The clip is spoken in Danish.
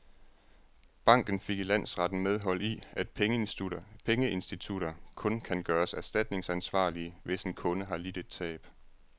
Banken fik i landsretten medhold i, at pengeinstitutter kun kan gøres erstatningsansvarlige, hvis en kunde har lidt et tab.